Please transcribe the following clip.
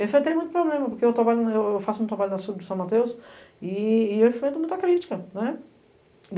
Eu enfrentei muito problema, porque eu faço um trabalho no assunto de São Mateus e eu enfrento muita crítica.